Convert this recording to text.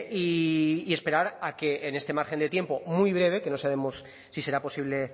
y esperar a que en este margen de tiempo muy breve que no sabemos si será posible